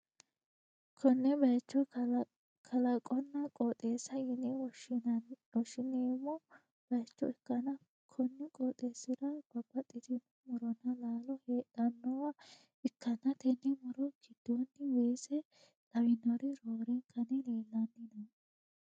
konne bayicho kalaqonna qooxeessa yine wwoshshi'neemmo bayicho ikkanna, konni qooxeessi'ra babbaxxitino muronna laalo hedhannowa ikkanna, tenne muro giddoonni weese lawinori roorenkanni leellanni no.